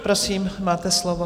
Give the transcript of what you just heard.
Prosím, máte slovo.